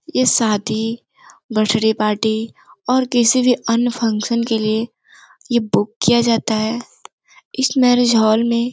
यह शादी birthday party और किसी भी अन्य फंक्शन के लिए यह बुक किया जाता है इस मैरिज हॉल में --